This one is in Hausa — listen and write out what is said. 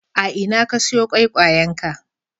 A ina ka sayo ƙwaiƙwayenka?